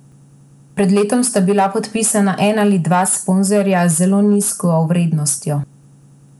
Pred letom sta bila podpisana en ali dva sponzorja z zelo nizko vrednostjo.